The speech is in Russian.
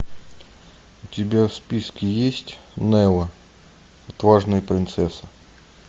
у тебя в списке есть нелла отважная принцесса